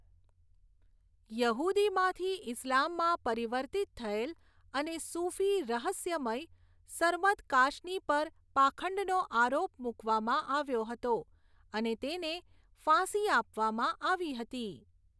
યહૂદીમાંથી ઇસ્લામમાં પરિવર્તિત થયેલ અને સૂફી રહસ્યમય, સરમદ કાશની પર પાખંડનો આરોપ મૂકવામાં આવ્યો હતો અને તેને ફાંસી આપવામાં આવી હતી.